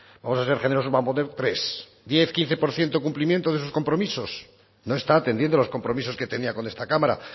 vamos a ser generosos voy a poner tres diez quince por ciento cumplimiento de sus compromisos no está atendiendo a los compromisos que tenía con esta cámara